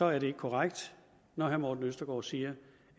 er det ikke korrekt når herre morten østergaard siger